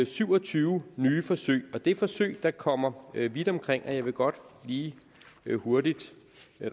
syv og tyve nye forsøg og det er forsøg der kommer vidt omkring jeg vil godt lige hurtigt